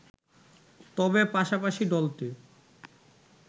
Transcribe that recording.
তবে পাশাপাশি দলটি